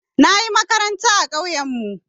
Na yi makaranta a ƙauyenmu.